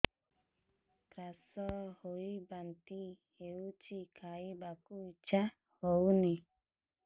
gas ହୋଇ ବାନ୍ତି ହଉଛି ଖାଇବାକୁ ଇଚ୍ଛା ହଉନି